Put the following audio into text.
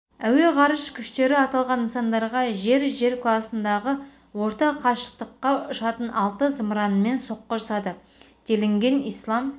әуе-ғарыш күштері аталған нысандарға жер-жер класындағы орта қашықтыққа ұшатын алты зымыранмен соққы жасады делінген ислам